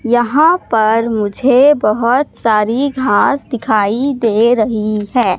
यहां पर मुझे बहोत सारी घास दिखाई दे रही है।